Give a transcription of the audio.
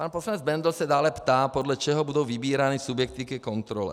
Pan poslanec Bendl se dále ptá, podle čeho budou vybírány subjekty ke kontrole.